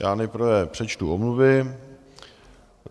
Já nejprve přečtu omluvy.